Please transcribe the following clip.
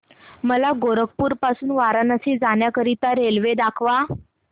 मला गोरखपुर पासून वाराणसी जाण्या करीता रेल्वे दाखवा